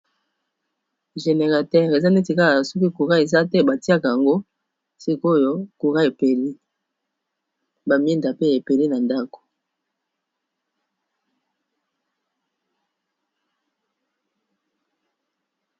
Generateur eza neti kala soki koura eza te batiaka yango sikoyo kura epeli ba mwinda pe epeli na ndako.